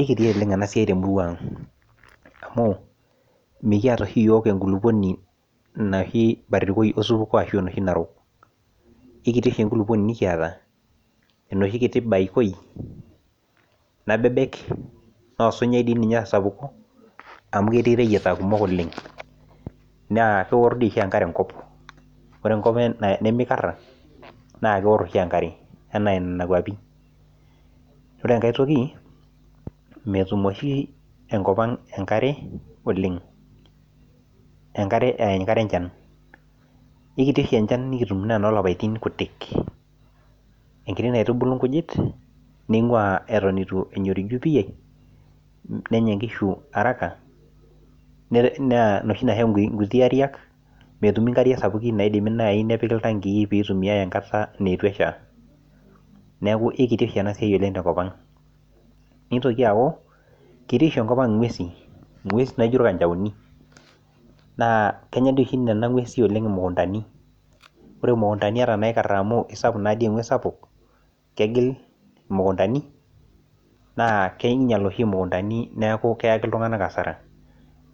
ikiti oleng ena siai temurua ang amu, mikiata oshi iyiook enkulupuoni barikoi osupuko ashu enoshi narok. eikiti oshi enkulupuoni nikiata, enoshi kiti baikoi, nabebek, naa osinyai doi ninye osapuk. amu ketii ireyiata kumok olen. naa keor dii oshi ninye enkare enkop. ore enkop nemeiara naa keor oshi enkare. anaa nena kuapi. ore enkae toki metum oshi enkop ang' enkare oleng. enkare aa enkare enchan. eikiti oshi enchan, nikitum naa enoolapapitin kutik. enkiti naitubulu nkujit, neing'uaa eton eitu eyoriju pii. nenya nkishu araka. naa inoshi naa nkuti aiak. metumi nkariak sapukin naitumiae naaji enkata neitu esha. neeku eikiti oshi oleng ena siai tenkop ang. neitoki aaku ketii oshi enkop ang inguesin. ing'uesi naijo irkanchaoni. naa kenya dii oshi oleng nena nguesin imukuntani. ore imukntani ata inakara oleng. amu isapuk naa dii ewuji. kegil mukuntaini. naa kengila keyaki iltunganak asara.